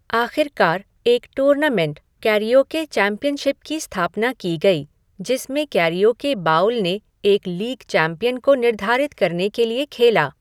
आखिरकार, एक tournament, karaoke championship की स्थापना की गई, जिसमें कैरिओके बाउल ने एक लीग चैंपियन को निर्धारित करने के लिए खेला।